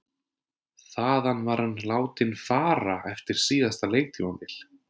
Þaðan var hann látinn fara eftir síðasta leiktímabil.